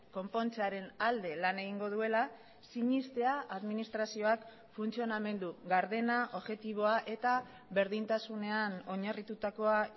konpontzearen alde lan egingo duela sinestea administrazioak funtzionamendu gardena objektiboa eta berdintasunean oinarritutakoa